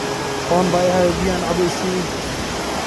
Oon baa iihaye biyo ancabo isii.